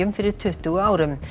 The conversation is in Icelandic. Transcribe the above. fyrir tuttugu árum